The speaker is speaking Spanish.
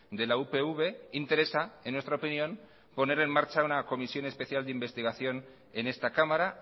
de la upv interesa en nuestra opinión poner en marcha una comisión especial de investigación en esta cámara